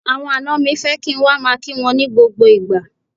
Àwọn àna mi fẹ́ kí n wá máa kí wọn ní gbogbo ìgbà.